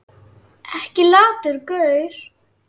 Ekki latur gaur!